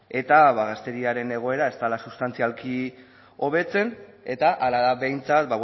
eta gazteriaren egoera ez dela sustantzialki hobetzen eta hala da behintzat